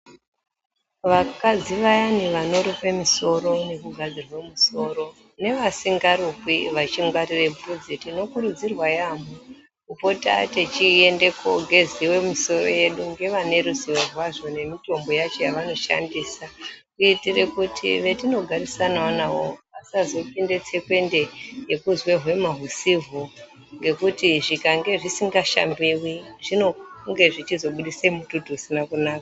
Vakadzi vayani vanorukwe misoro nekugadzirwe musoro, nevasingarukwi vachingwarire vhudzi, tinokurudzirwa yaamho kupota techiende kogeziwe misoro yedu ngevane ruzivo rwazvo nemitombo yacho yavanoshandisa kuitire kuti vetinogarisanawo navo vasazopinde tsekwende yekuzwe hwema husihwo ngekuti zvikange zvisinga shambiwi zvinonge zvichizobudise mututu usina kunaka.